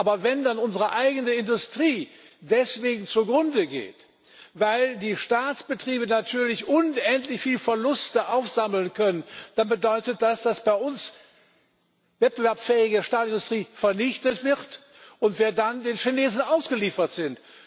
Aber wenn dann unsere eigene Industrie deswegen zugrunde geht, weil die Staatsbetriebe natürlich unendlich viel Verluste aufsammeln können, dann bedeutet das, dass bei uns wettbewerbsfähige Stahlindustrie vernichtet wird und wir dann den Chinesen ausgeliefert sind.